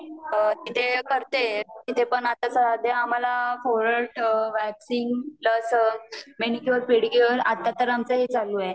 इथे करतेय इथे पण आता सध्या आम्हाला forehead waxing plus manicure pedicure आता तर आमचं हे चालू आहे